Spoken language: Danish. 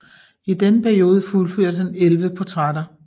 I denne periode fuldførte han 11 portrætter